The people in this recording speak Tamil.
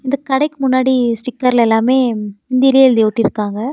இந்த கடைக்கு முன்னாடி ஸ்டிக்கர்ல எல்லாமே ஹிந்திலயே எழுதி ஒட்டிருக்காங்க.